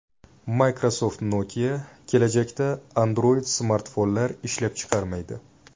Microsoft-Nokia kelajakda Android-smartfonlar ishlab chiqarmaydi.